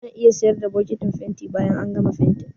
Ana iya siyar da bokitin fenti bayan an gama fentin.